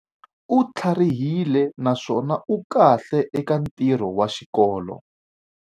U tlharihile naswona u kahle eka ntirho wa xikolo.